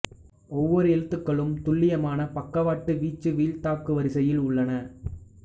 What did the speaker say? ஒவ்வொரு எழுத்துக்களும் துல்லியமான பக்கவாட்டு வீச்சு வீழ்த்தாக்கு வரிசையில் உள்ளன